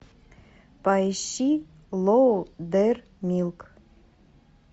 поищи лоудермилк